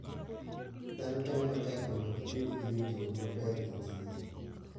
Dhano temo matek mondo gibed gi winjruok maber gi kich.